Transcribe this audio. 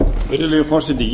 virðulegi forseti